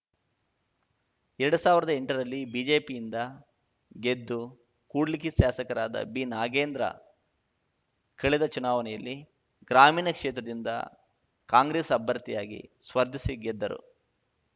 ಎರಡ್ ಸಾವಿರ್ದಾ ಎಂಟರಲ್ಲಿ ಬಿಜೆಪಿಯಿಂದ ಗೆದ್ದು ಕೂಡ್ಲಿಗಿ ಶಾಸಕರಾದ ಬಿನಾಗೇಂದ್ರ ಕಳೆದ ಚುನಾವಣೆಯಲ್ಲಿ ಗ್ರಾಮೀಣ ಕ್ಷೇತ್ರದಿಂದ ಕಾಂಗ್ರೆಸ್‌ ಅಭ್ಯರ್ಥಿಯಾಗಿ ಸ್ಪರ್ಧಿಸಿ ಗೆದ್ದರು